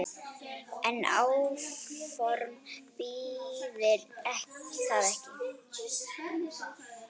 En áform þýðir það ekki.